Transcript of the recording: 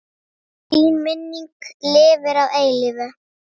Þín minning lifir að eilífu.